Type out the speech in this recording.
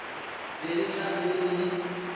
be e tla be e